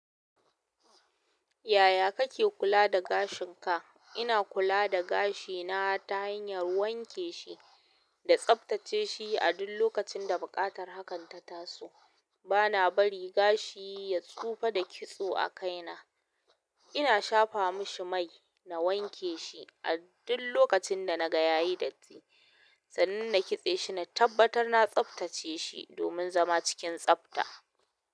Yaya kake kula da gashin ka? Ina kula da gashina ta hanyar wanke shi da tsaftace shi a duk lokacin da buƙatar hakan ta taso. Bana bari gashi ya tsufa da kitso a kaina. Ina shafa mishi mai na wanke shi, a duk lokacin da na gaya yi datti. Sannan na kitse shi na tabbatar na tsaftace shi, domin zama cikin tsabta.